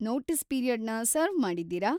Notice ಪೀರಿಯಡ್‌ನ serve ಮಾಡಿದ್ದೀರಾ?